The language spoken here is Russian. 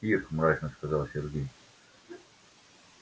ир мрачно сказал сергей